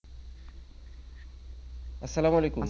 অসাল্লাম ওয়ালেকুম